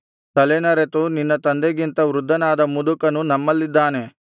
ತಲೆನರೆತು ನಿನ್ನ ತಂದೆಗಿಂತ ವೃದ್ಧನಾದ ಮುದುಕನು ನಮ್ಮಲ್ಲಿದ್ದಾನೆ